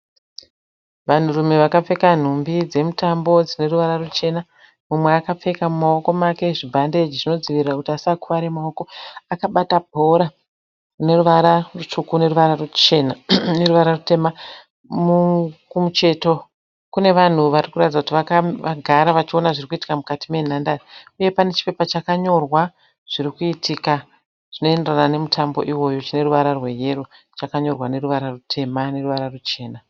Vanhu rume vakapfeka nhumbi dzemutambo zvineruvara ruchena ,mumwe aka mumawiko ake zvibhandechi zvinodzivirira kuti asakuvare mumawoko. Akabata bhora ,rineruvara rusvuku neruvara ruchena, neruvara rutema. Kumusheto kunevanhu varikuratidza kutivakagara varikuwono zvirikuitika mukati menhandare. Uye panechipepa chakanyorwa zvirikuitika zvinoyendera nemutambo iwowo chiricheruvara rweyero chakanyorwa neruvara rutema neruvara ruchena.